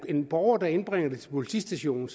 en borger der indbringer det til politistationen